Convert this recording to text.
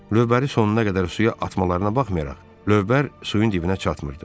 Lövbəri sonuna qədər suya atmalarına baxmayaraq, lövbər suyun dibinə çatmırdı.